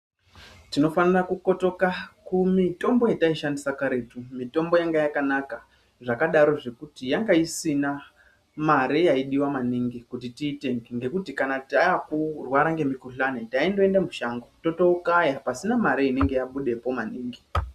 Tinofanira kukotoka kumitombo yataishandisa kare mitombo yanga yakanaka zvakadarowo yanga isina mare yaidiwa maningi kuti tiitenge ngekuti kana taakurwara ngemukhuhlani taindoenda mushango totokaya pasina mare inenge yabudepo maningi.